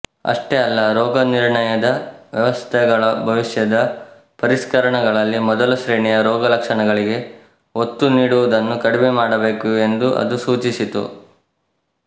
ಅಷ್ಟೇ ಅಲ್ಲ ರೋಗನಿರ್ಣಯದ ವ್ಯವಸ್ಥೆಗಳ ಭವಿಷ್ಯದ ಪರಿಷ್ಕರಣಗಳಲ್ಲಿ ಮೊದಲಶ್ರೇಣಿಯ ರೋಗಲಕ್ಷಣಗಳಿಗೆ ಒತ್ತು ನೀಡುವುದನ್ನು ಕಡಿಮೆಮಾಡಬೇಕು ಎಂದೂ ಅದು ಸೂಚಿಸಿತು